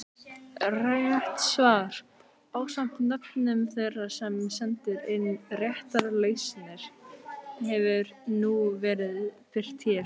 Rétt svar ásamt nöfnum þeirra sem sendu inn réttar lausnir hefur nú verið birt hér.